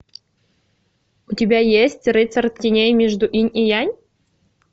у тебя есть рыцарь теней между инь и янь